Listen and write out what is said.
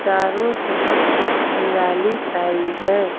चारों तरफ हरियाली छाई है।